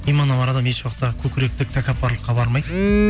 иманы бар адам еш уақытта көкіректік тәкаппарлыққа бармайды